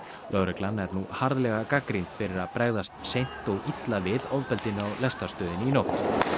lögreglan er nú harðlega gagnrýnd fyrir að bregðast seint og illa við ofbeldinu á lestarstöðinni í nótt